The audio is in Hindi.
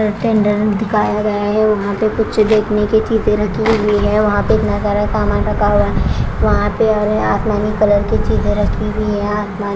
टेंडर दिखाया गया है वहाँ पे कुछ देखने की चीज़े रखी हुई है वहाँ पे इतना सारा सामान रखा हुआ है वहाँ पे और ये आसमानी कलर की चीज़े रखी हुई है आसमान --